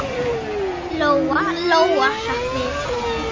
Lóa-Lóa hrökk við.